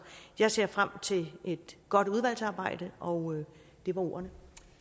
jeg ser frem til et godt udvalgsarbejde og det var ordene